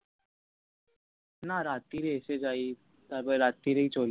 না রাত্রি এ এসে যায় তারপর রাত্রি চলে